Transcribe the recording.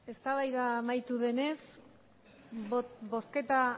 eztabaida amaitu denez bozketa